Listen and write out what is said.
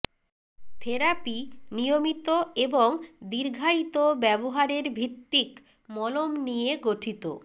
therapy নিয়মিত এবং দীর্ঘায়িত ব্যবহারের ভিত্তিক মলম নিয়ে গঠিত